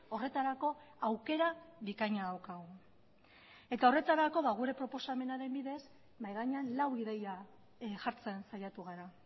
horretarako aukera bikaina daukagu eta horretarako gure proposamenaren bidez mahai gainean lau ideia jartzen saiatu gara